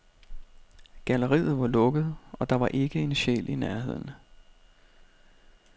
Galleriet var lukket, og der var ikke en sjæl i nærheden.